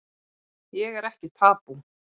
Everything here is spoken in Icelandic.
Ég er ekki tabú